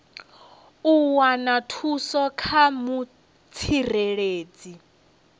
u wana thuso kha mutsireledzi